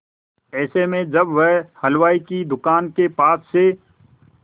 ऐसे में जब वह हलवाई की दुकान के पास से